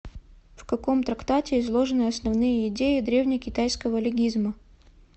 в каком трактате изложены основные идеи древнекитайского легизма